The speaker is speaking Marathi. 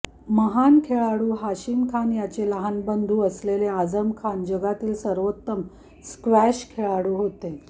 महान खेळाडू हाशिम खान याचे लहान बंधू असलेले आजम हे जगातील सर्वोत्तम स्क्वॅश खेळाडू होते